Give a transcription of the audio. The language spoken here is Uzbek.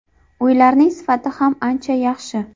Uylarning sifati ham ancha yaxshi.